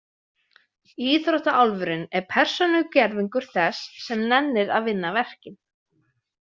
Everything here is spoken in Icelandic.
Íþróttaálfurinn er persónugervingur þess sem nennir að vinna verkin.